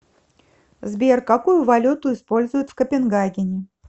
сбер какую валюту используют в копенгагене